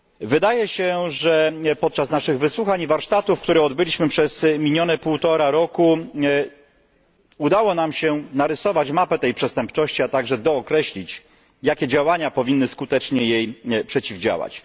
Wydaje się, że podczas naszych wysłuchań i warsztatów, które odbyliśmy przez minione półtora roku, udało nam się narysować mapę tej przestępczości, a także dookreślić, jakie działania powinny jej skutecznie przeciwdziałać.